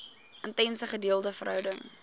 intense gedeelde verhouding